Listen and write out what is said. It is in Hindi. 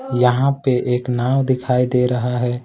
यहां पे एक नाव दिखाई दे रहा है।